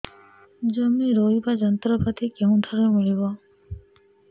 ଜମି ରୋଇବା ଯନ୍ତ୍ରପାତି କେଉଁଠାରୁ ମିଳିବ